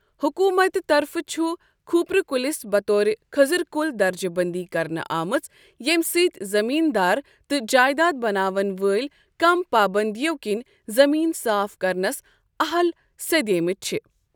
حکومتہٕ طرفہٕ چھ کھوٗپرٕ کُلِس بطور خٔضز کُل درجہِ بٔنٛدی کرنہٕ آمٕژ ییٚمہِ سۭتۍ زٔمیٖن دار تہ ٕ جایداد بناون وٲلۍ کم پابندیو كِنہِ زمیٖن صاف کرنس اہل سیٚدیمٕتۍ چھِ ۔